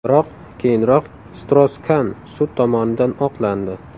Biroq keyinroq Stross-Kan sud tomonidan oqlandi.